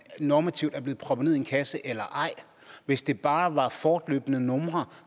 normativt er blevet proppet ned i en kasse eller ej hvis det bare var fortløbende numre